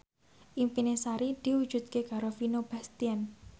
impine Sari diwujudke karo Vino Bastian